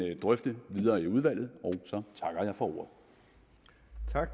drøfte videre i udvalget og